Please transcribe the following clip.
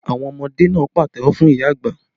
Àwọn ọmọdé náà pàtẹ́wọ́ fún ìyá àgbà